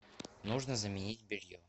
нужно заменить белье